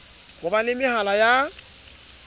ho ba le mehala ya